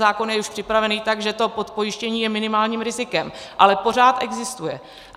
Zákon už je připraven tak, že to podpojištění je minimálním rizikem, ale pořád existuje.